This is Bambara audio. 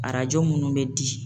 Arajo minnu bɛ di.